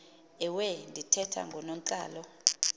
ewe ndithetha ngoonontlalo